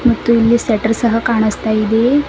ಮತ್ತೆ ಇಲ್ಲಿ ಶಟ್ಟರ್ ಸಹ ಕಾಣಿಸ್ತಾ ಇದೆ.